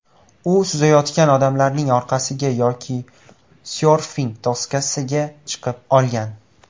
U suzayotgan odamlarning orqasiga yoki syorfing doskasiga chiqib olgan.